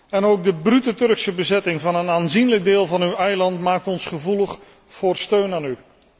En ook de brute Turkse bezetting van een aanzienlijk deel van uw eiland maakt ons gevoelig voor steun aan u.